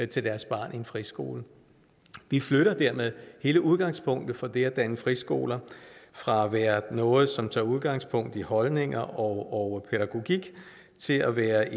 til deres barn i en friskole vi flytter dermed hele udgangspunktet for det at danne friskoler fra at være noget som tager udgangspunkt i holdninger og pædagogik til at være